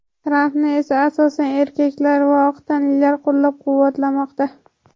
Trampni esa asosan erkaklar va oq tanlilar qo‘llab-quvvatlamoqda.